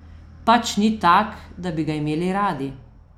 Pač ni tak, da bi ga imeli radi.